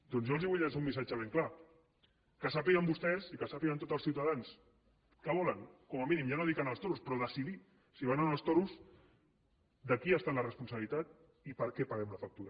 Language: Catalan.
doncs jo els vull llançar un missatge ben clar que sàpiguen vostès i que sàpiguen tots els ciutadans que volen com a mínim ja no dic anar als toros però decidir si van o no als toros de qui ha estat la responsabilitat i per què paguem la factura